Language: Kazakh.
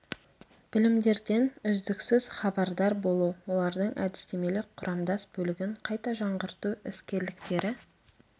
білімдерден үздіксіз хабардар болу олардың әдістемелік құрамдас бөлігін қайта жаңғырту іскерліктері